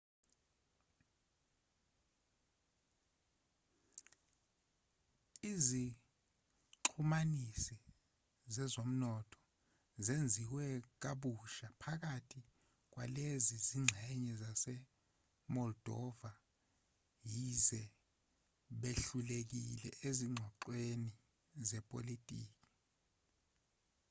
izixhumanisi zezomnotho zenziwe kabusha phakathi kwalezi zingxenye zase-moldova yize behlulekile ezinxoxweni zepolitiki